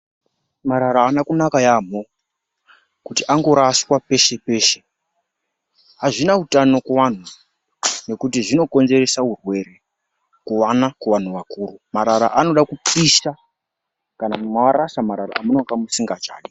Marara haana kunaka yaamho kuti angoraswa peshe-peshe. Hazvina utano kuvantu nekuti zvinokonzerese hurwere, kuvana kana kuvantu vakuru. Marara anoda kupishwa kana marasha marara amunenge musingachadi